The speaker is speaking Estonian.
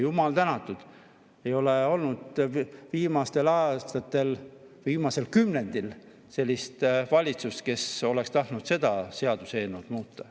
Jumal tänatud, et ei ole olnud viimastel aastatel, viimasel kümnendil sellist valitsust, kes oleks tahtnud seda seadust muuta.